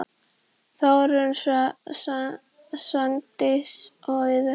Þórunn, Svandís og Auður.